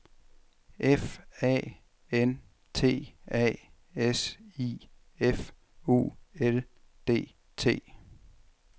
F A N T A S I F U L D T